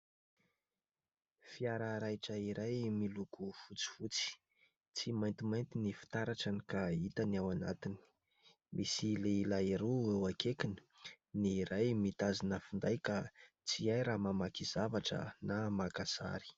Fiara raitra iray miloko fotsifotsy tsy maintimainty ny fitaratrany ka hita ny ao anatiny. Misy lehilahy roa eo akaikiny. Ny iray mitazona finday ka tsy hay na mamaky zavatra na maka sary.